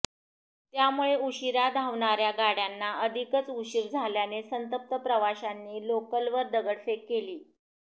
त्यामुळे उशीरा धावणाऱ्या गाड्यांना अधिकच उशीर झाल्याने संतप्त प्रवाशांनी लोकलवर दगडफेक केली